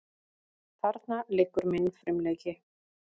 Þarna liggur minn frumleiki.